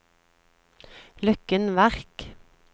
Løkken Verk